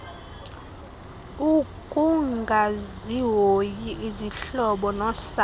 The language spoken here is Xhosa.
ukungazihoyi izihlobo nosapho